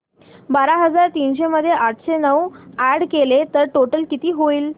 बारा हजार तीनशे मध्ये आठशे नऊ अॅड केले तर टोटल किती होईल